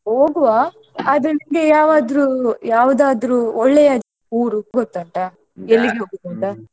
ಹೋಗುವಾ ಆದ್ರೆ ನಿಮ್ಗೆ ಯಾವಾದ್ರೂ~ ಯಾವದಾದ್ರು ಒಳ್ಳೆಯ ಊರು ಗೊತ್ತುಂಟ ?